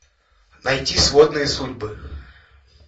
найти сводные судьбы